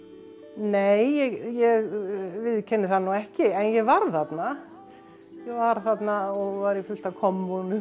nei ég viðurkenni það nú ekki en ég var þarna ég var þarna og var í fullt af kommúnum